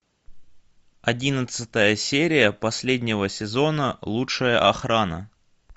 одиннадцатая серия последнего сезона лучшая охрана